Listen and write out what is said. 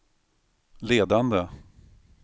ledande